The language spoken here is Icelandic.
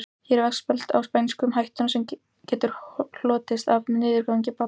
Hér er veggspjald á spænsku um hættuna sem getur hlotist af niðurgangi barna.